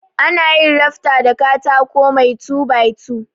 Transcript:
Anayin ranta da katako mai two by two.